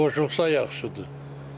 Qoşulsa yaxşıdır.